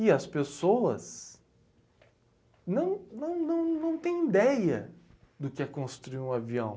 E as pessoas não não não não têm ideia do que é construir um avião.